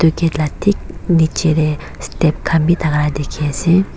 gate laga thik nichey tey step khan vi thaka laga dekhi ase.